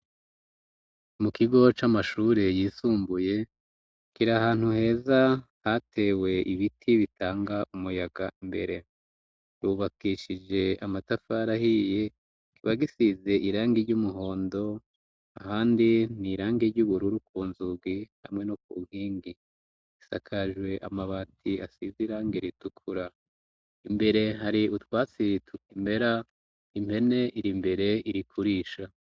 Mu kigo c'amashure yisumbuye kira ahantu heza hatewe ibiti bitanga umuyaga imbere, yubakishije amatafara ahiye kibagisize irangi ry'umuhondo, ahandi ni irangi ry'ubururu ku nzugi hamwe no ku nyingi, isakajwe amabati asizirange ritukura, imbere hari utwatsii tutimera impene iri mbere irikurisha.